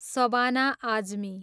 Shabana Azmi